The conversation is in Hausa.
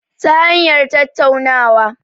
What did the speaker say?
Ta hanyar tattaunawa